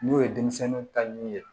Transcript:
N'o ye denmisɛnninw ta ɲɛ ye